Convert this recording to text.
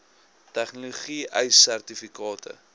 tegnologie ace sertifikate